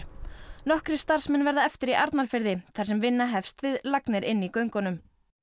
nokkrir starfsmenn verða eftir í Arnarfirði þar sem vinna hefst við lagnir inni í göngunum